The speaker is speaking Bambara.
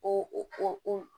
O